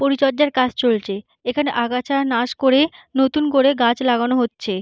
পরিচর্যার কাজ চলছে এখানে আগাছা নাশ করে নতুন করে গাছ লাগানো হচ্ছে।